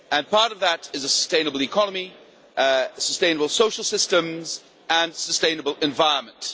Part of that is a sustainable economy, sustainable social systems and a sustainable environment.